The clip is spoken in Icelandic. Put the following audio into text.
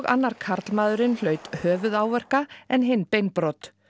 annar karlmaðurinn hlaut höfuðáverka en hinn beinbrot